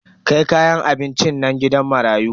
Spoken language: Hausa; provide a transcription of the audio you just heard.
Kai kayan abincin nan gidan marayu.